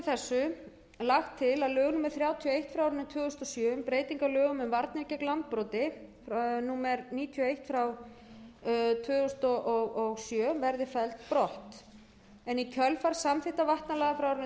þessu lagt til að lög númer þrjátíu og eitt tvö þúsund og sjö um breytingu á lögum um varnir gegn landbroti númer níutíu og eitt tvö þúsund og sjö verði felld brott í kjölfar samþykktar vatnalaga frá árinu tvö þúsund og sex var umrædd